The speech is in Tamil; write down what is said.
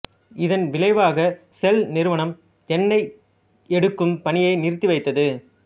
இதன் விளைவாக செல் நிறுவனம் எண்ணெய் எடுக்கும் பணியை நிறுத்தி வைத்தது